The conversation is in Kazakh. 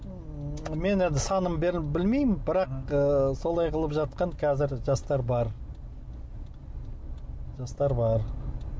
мен енді санын білмеймін бірақ солай қылып жатқан қазір жастар бар жастар бар